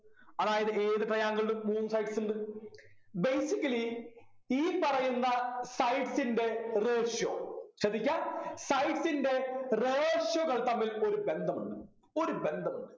അതായത് ഏത് triangle ലും മൂന്ന് sides ഉണ്ട് basically ഈ പറയുന്ന sides ൻ്റെ ratio ശ്രദ്ധിക്ക sides ൻ്റെ ratio കൾ തമ്മിൽ ഒരു ബന്ധമുണ്ട് ഒരു ബന്ധമുണ്ട്